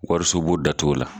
Wariso bon da t'o la